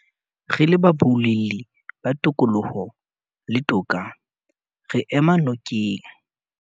Re le baboulelli ba tokoloho le toka, re ema nokeng